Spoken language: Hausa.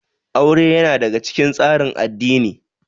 Aure ya na daga cikin tsarin addini